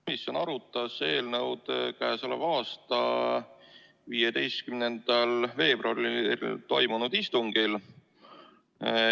Komisjon arutas eelnõu k.a 15. veebruaril toimunud istungil.